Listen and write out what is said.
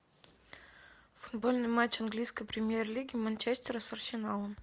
футбольный матч английской премьер лиги манчестера с арсеналом